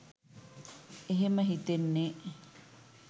එහෙම හිතෙන්නේ